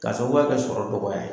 K'a sababuya kɛ sɔrɔ dɔgɔya ye.